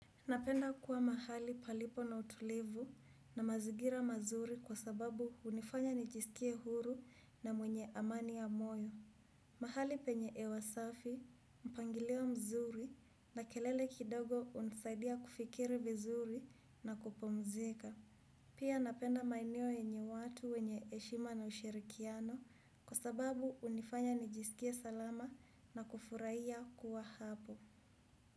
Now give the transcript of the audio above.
Napenda kuwa mahali palipo na utulivu na mazingira mazuri kwa sababu hunifanya nijisikie huru na mwenye amani ya moyo. Mahali penye hewa safi, mpangilio mzuri na kelele kidogo hunisaidia kufikiri vizuri na kupumzika. Pia napenda maeneo yenye watu wenye heshima na ushirikiano kwa sababu hunifanya nijisikie salama na kufurahia kuwa hapo.